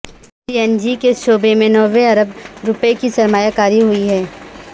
سی N G کے شعبے میں نوے ارب روپے کی سرمایہ کاری ہوئی ہے